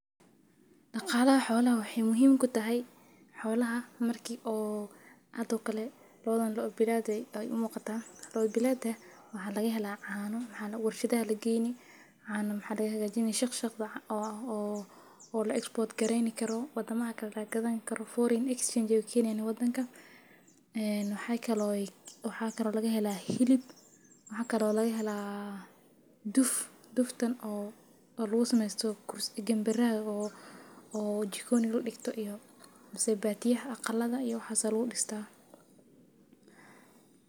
Daqalaha xolaha waxee muhiim kutahay xolaha marki oo hada oo kale waxee u muqataa lo bilaad lo bilaada waxaa laga hela cana shaqshaq oo la hagajinkaro oo la export gareyni karo foren exchange ee waxaa kale oo laga hela hilib waxaa kuso dacda oo jikoniga ladigto mase caqalada iyo waxas ayu udigma.